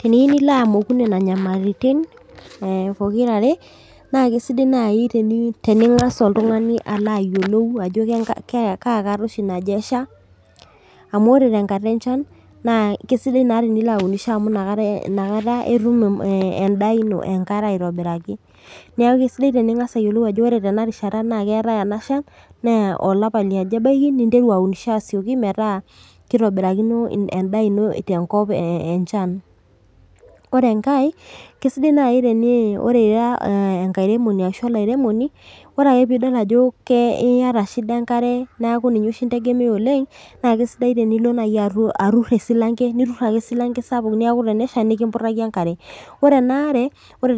Teniu nilo amoku nena nyamalitin eh pokirare eh naa kisidai naaji tenitening'as oltung'ani alo ayiolou ajo kenka kaa kata naje oshi esha amu ore tenkata enchan keisidai naa tenilo aunisho amu inakata inakata etum eh endaa ino enkare aitobiraki niaku kesidai tening'as ayiolou ajo ore tena rishata naa keetae ena shan naa olapa liaja ebaiki ninteru aunisho asioki metaa kitobirakino in endaa ino tenkop enchan ore enkae kesidai naai teni ore ira eh enkairemoni ashu olairemoni ore ake piidol ajo kee iyata shida enkare naaku ninye oshi integemea oleng naa kesidai tenilo naaji atu aturr esilanke niturr ake esilanke sapuk niaku tenesha nikimputaki enkare ore ena are ore